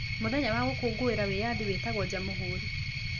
Mũthenya wa gũkũngũĩra wĩyathi wĩtagwo Jamũhũri.